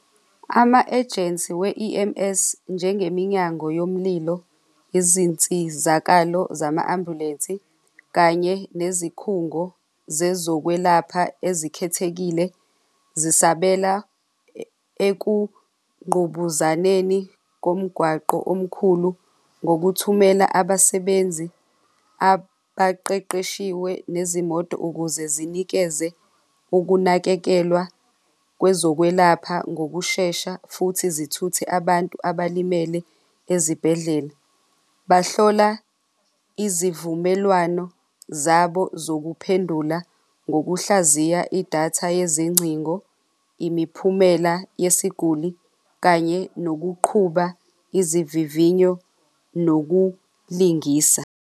Ama-ejensi we-E_M_S njengeminyango yomlilo, izinsizakalo zama-ambulensi kanye nezikhungo zezokwelapha ezikhethekile zisabela ekungqubuzaneni komgwaqo omkhulu ngokuthumela abasebenzi abaqeqeshiwe nezimoto ukuze zinikeze ukunakekelwa kwezokwelapha ngokushesha futhi zithuthe abantu abalimele ezibhedlela. Bahlola izivumelwano zabo zokuphendula ngokuhlaziya idatha yezingcingo, imiphumela yesiguli kanye nokuqhuba izivivinyo nokulingisa.